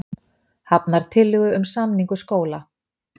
Hafnar tillögum um samningu skóla